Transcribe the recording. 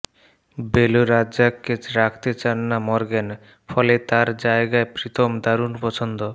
below রাজ্জাককে রাখতে চান না মর্গ্যান ফলে তাঁর জায়গায় প্রীতম দারুণ পছন্দ